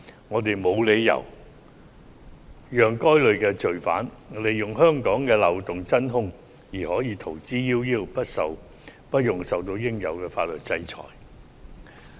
我們沒有理由讓該類罪犯利用香港的漏洞而逃之夭夭，不用受到應有的法律制裁。